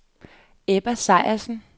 Ebba Sejersen